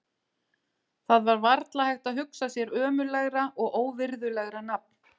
Það var varla hægt að hugsa sér ömurlegra og óvirðulegra nafn.